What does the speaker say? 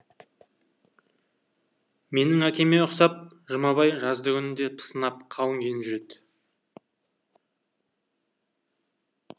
менің әкеме ұқсап жұмабай жаздыгүні де пысынап қалың киініп жүреді